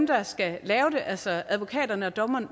der skal lave det altså advokaterne og dommerne